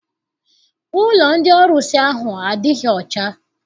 Ụlọ ndị ọrụsị ahụ adịghị ọcha.